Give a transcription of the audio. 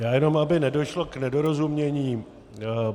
Já jenom aby nedošlo k nedorozumění.